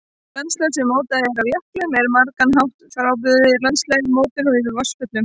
Landslag sem mótað er af jöklum er á margan hátt frábrugðið landslagi mótuðu af vatnsföllum.